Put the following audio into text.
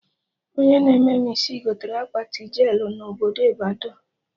Onye na-eme mụ isi gotere akpati jelụ na obodo Ịbadọ